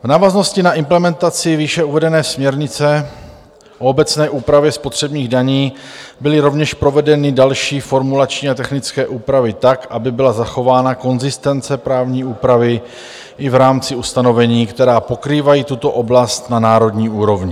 V návaznosti na implementaci výše uvedené směrnice o obecné úpravě spotřebních daní byly rovněž provedeny další formulační a technické úpravy tak, aby byla zachována konzistence právní úpravy i v rámci ustanovení, která pokrývají tuto oblast na národní úrovni.